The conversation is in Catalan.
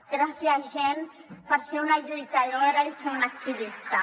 gràcies jenn per ser una lluitadora i ser una activista